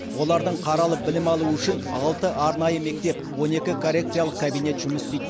олардың қаралып білім алуы үшін алты арнайы мектеп он екі коррекциялық кабинет жұмыс істейді